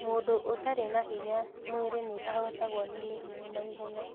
Mũndũ ũtarĩ na hinya mwĩrĩ nĩahotagwo nĩ mĩrimũ naihenya